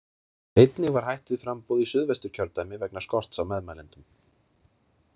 Einnig var hætt við framboð í Suðvesturkjördæmi vegna skorts á meðmælendum.